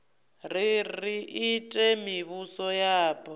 ri ri ite mivhuso yapo